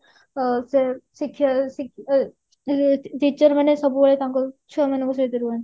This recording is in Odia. ଅ ସେ ଶିକ୍ଷ ଅ teacher ମାନେ ସବୁବେଳେ କଣ କରନ୍ତି ଛୁଆ ମାନଙ୍କ ସହିତ ରୁହନ୍ତି